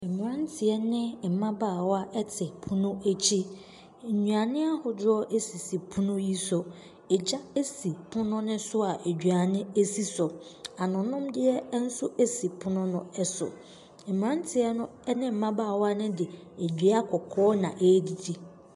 Mmeranteɛ ne mmabaawa te pono akyi. Nnuane ahodoɔ sisi pono yi so. Egya si pono no so a aduane si so. Anonomdeɛ nso si pono no so. Mmeranteɛ no ne mmabaawa no de dua kɔkɔɔ na ɛredidi.